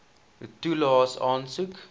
toelaes aansoek